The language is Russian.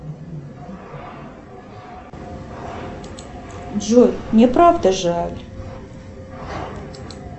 джой мне правда жаль